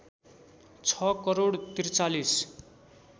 ६ crore ४३